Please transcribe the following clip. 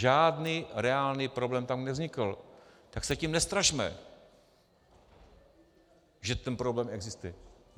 Žádný reálný problém tam nevznikl, tak se tím nestrašme, že ten problém existuje.